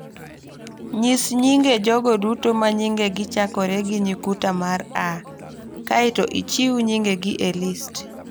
Nyis nyinge jogo duto ma nyingegi chakore gi nyukta mar a, kae to ichiw nyingegi e list